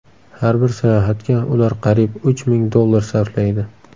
Har bir sayohatga ular qariyb uch ming dollar sarflaydi.